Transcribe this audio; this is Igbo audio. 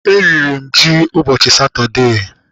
E riri m ji ụbọchị Satọdee.